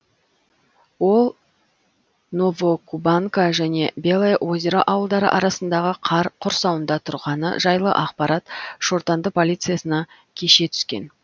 ол новокубанка және белое озеро ауылдары арасындағы қар құрсауында тұрғаны жайлы ақпарат шортанды полициясына кеше түскен